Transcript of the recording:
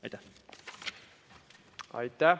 Aitäh!